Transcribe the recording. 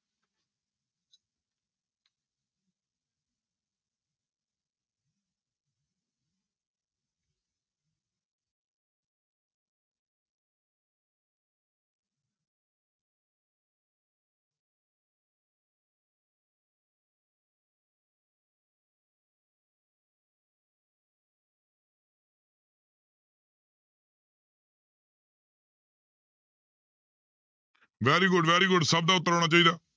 Very good very good ਸਭ ਦਾ ਉੱਤਰ ਆਉਣਾ ਚਾਹੀਦਾ।